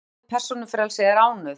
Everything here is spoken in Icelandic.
andstæðan við persónufrelsi er ánauð